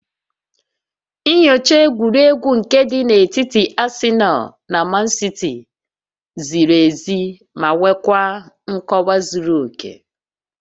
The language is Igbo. Nyochaa egwuregwu nke dị n'etiti Asịnal na Mansiti ziri ezi ma nwekwaa nkọwa zuru oke